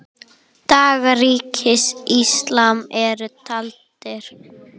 Dagar Ríkis íslams eru taldir.